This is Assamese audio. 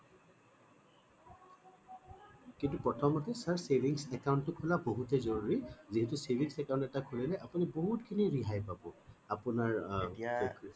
কিন্তু প্ৰথমতে sir savings account খোলা টো বহুততে জৰুৰী যিহেতু savings account এটা খুলিলে আপুনি বহুত খিনি ৰেহাই পাব আপোনাৰ আ